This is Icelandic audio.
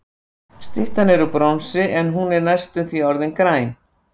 Styttan er úr bronsi, en hún er næstum því orðin græn.